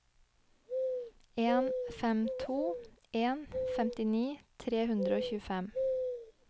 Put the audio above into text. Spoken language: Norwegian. en fem to en femtini tre hundre og tjuefem